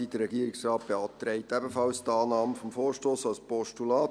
Der Regierungsrat beantragt ebenfalls die Annahme des Vorstosses als Postulat.